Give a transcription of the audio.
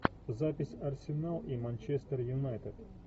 запись арсенал и манчестер юнайтед